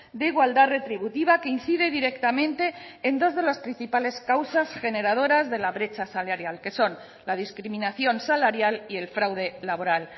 de igualdad retributiva que incide directamente en dos de las principales causas generadoras de la brecha salarial que son la discriminación salarial y el fraude laboral